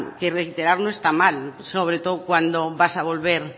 que reiterar no está mal sobre todo cuando vas a volver